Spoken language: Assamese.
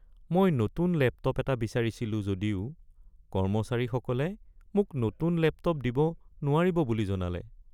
মই নতুন লেপটপ এটা বিচাৰিছিলোঁ যদিও কৰ্মচাৰীসকলে মোক নতুন লেপটপ দিব নোৱাৰিব বুলি জনালে।